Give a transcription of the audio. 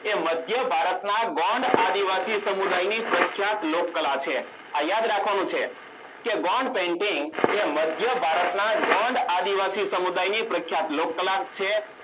એ મધ્યભારતના ગોંડ આદિવાસી સમુદાયની પ્રખ્યાત લોકકલા છે આ યાદ રાખવાનું છે કે Gone painting એ માધયભતાના ગોંડ આદિવાસી સમુદાયની પ્રખ્યાત લોકકલા છે